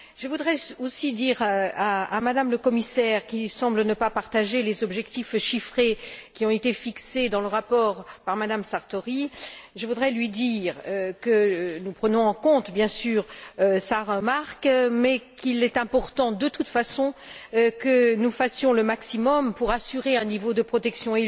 Je voudrais aussi dire à M me la Commissaire, qui ne semble pas partager les objectifs chiffrés qui ont été fixés dans le rapport par M me Sartori, que nous prenons en compte, bien sûr, sa remarque, mais qu'il est important, de toute façon, que nous fassions le maximum pour assurer un niveau de protection